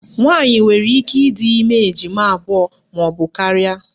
Nwaanyị nwere ike ịdị ime ejima abụọ maọbụ karịa